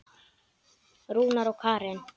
Rúnar og Karen.